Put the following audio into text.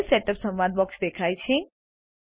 page setup સંવાદ box દેખાય છે